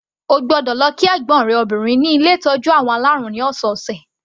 O gbọ́dọ̀ lọ kí ẹ̀gbọ́n rẹ obìnrin ní ilé ìtọ́jú àwọn alárùn ní ọ̀sọ̀ọ̀sẹ̀.